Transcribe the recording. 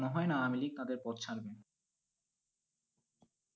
মনে হয় না আমেলি তাদের পদ ছাড়বেন।